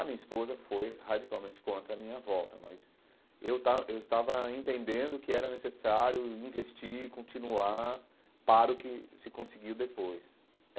A minha esposa foi radicalmente contra a minha volta, mas eu estava eu estava entendendo que era necessário investir, continuar para o que se conseguiu depois.